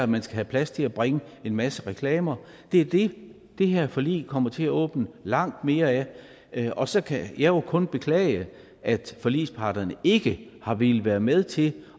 man skal have plads til at bringe en masse reklamer det er det det her forlig kommer til at åbne op langt mere af og så kan jeg jo kun beklage at forligsparterne ikke har villet være med til